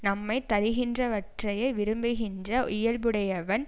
நம்மை தருகின்றவற்றையே விரும்புகின்ற இயல்புடையவன்